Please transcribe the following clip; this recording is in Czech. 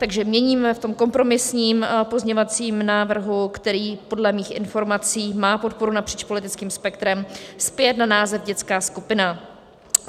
Takže měníme v tom kompromisním pozměňovacím návrhu, který podle mých informací má podporu napříč politickým spektrem, zpět na název dětská skupina.